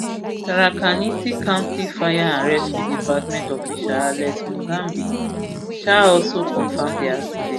tharaka nithi county fire and rescue department official alex mugambi um also confam di accident